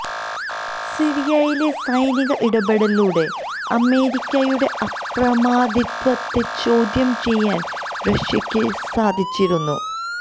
സിറിയയിലെ സൈനിക ഇടപെടലിലൂടെ അമേരിക്കയുടെ അപ്രമാദിത്വത്തെ ചോദ്യം ചെയ്യാൻ റഷ്യക്ക് സാധിച്ചിരുന്നു